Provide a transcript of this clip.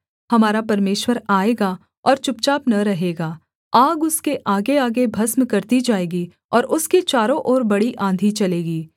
हमारा परमेश्वर आएगा और चुपचाप न रहेगा आग उसके आगेआगे भस्म करती जाएगी और उसके चारों ओर बड़ी आँधी चलेगी